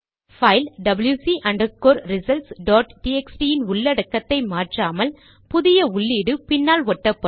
file WC underscore results dot TXT இன் உள்ளடக்கத்தை மாற்றாமல் புதிய உள்ளீடு பின்னால் ஒட்டப்படும்